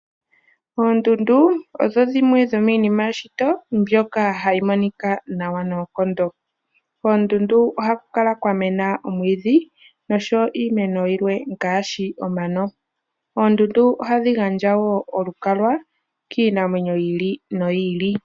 Oondundu odho dhimwe dhomiinima yeshito mbyoka hayi monika nawa noonkondo. Oondundu ohaku kala kwa mena omwiidhi noshowo iimeno yilwe ngaashi omano. Oondundu ohadhi gandja woo olukalwa kiinamwenyo yi ili noyi ili.